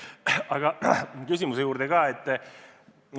Aga nüüd küsimuse juurde.